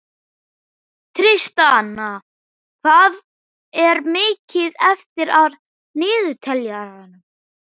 Tristana, hvað er mikið eftir af niðurteljaranum?